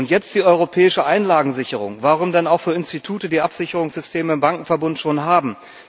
Und jetzt die europäische Einlagensicherung Warum denn auch für Institute, die schon Absicherungssysteme im Bankenverbund haben?